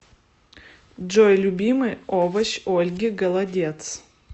джой любимый овощ ольги голодец